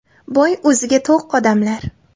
Boy o‘ziga-to‘q odamlar.